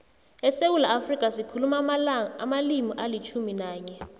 esewula afrika sikhuluma amalimi alitjhumi nanye